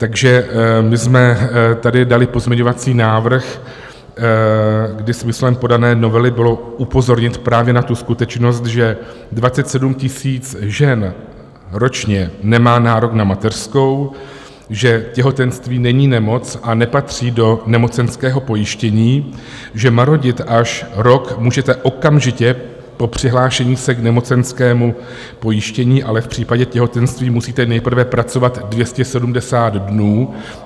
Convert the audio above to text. Takže my jsme tady dali pozměňovací návrh, kdy smyslem podané novely bylo upozornit právě na tu skutečnost, že 27 000 žen ročně nemá nárok na mateřskou, že těhotenství není nemoc a nepatří do nemocenského pojištění, že marodit až rok můžete okamžitě po přihlášení se k nemocenskému pojištění, ale v případě těhotenství musíte nejprve pracovat 270 dnů.